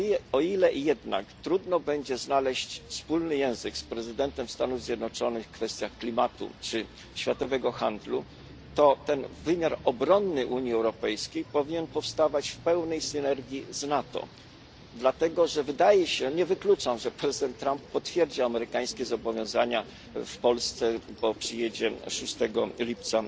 O ile jednak trudno będzie znaleźć wspólny język z prezydentem Stanów Zjednoczonych w kwestiach klimatu czy światowego handlu, to wymiar obronny Unii Europejskiej powinien powstawać w pełnej synergii z NATO, nie wykluczam bowiem, że prezydent Trump potwierdzi amerykańskie zobowiązania w Polsce, gdzie przyjedzie w dniu 6 lipca.